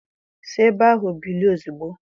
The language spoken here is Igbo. Si ebe ahụ bilie ozugbo!